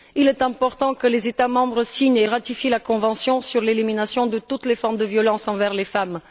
Il est important que les États membres signent et ratifient la convention sur l'élimination de toutes les formes de violence envers les femmes.